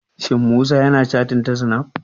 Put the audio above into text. Shin Musa ya na cattin ta snaf?